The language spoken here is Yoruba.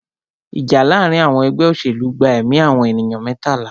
Ìjà láàárín àwọn ẹgbẹ́ òṣèlú gba ẹ̀mí àwọn ènìyàn mẹ́tàlá.